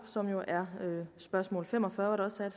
som jo er spørgsmål fem og fyrre hvor der også er